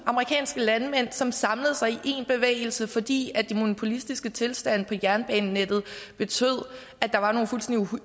amerikanske landmænd som samlede sig i én bevægelse fordi de monopolistiske tilstande på jernbanenettet betød at der var nogle fuldstændig